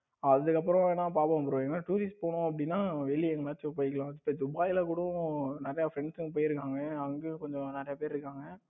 அதுக்கப்புறம் நான் பாப்போம் bro ஏனா tour ல போனோம் அப்படின்னா வெளியே எங்கயாச்சும் போய்க்கலாம் இப்ப துபாய்ல கூட நிறைய friends எல்லாம் போயிருக்காங்க அங்க கொஞ்சம் நிறைய பேர் இருக்காங்க